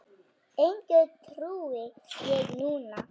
Engu trúi ég núna.